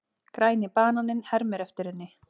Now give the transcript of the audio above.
Græni bananinn hermir eftir henni.